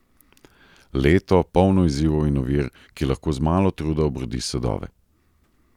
Leto, polno izzivov in ovir, ki lahko z malo truda obrodi sadove.